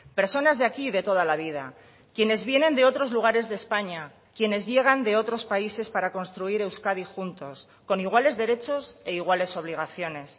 personas de aquí de toda la vida quienes vienen de otros lugares de españa quienes llegan de otros países para construir euskadi juntos con iguales derechos e iguales obligaciones